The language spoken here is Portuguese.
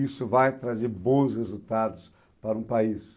isso vai trazer bons resultados para um país.